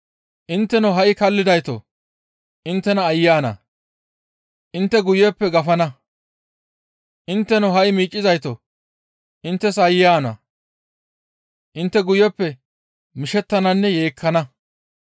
Intteno ha7i kallidaytoo! Inttena aayye ana! Intte guyeppe gafana; intteno ha7i miiccizaytoo! Inttes aayye ana! Intte guyeppe mishettananne yeekkana.